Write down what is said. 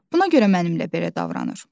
Buna görə mənimlə belə davranır.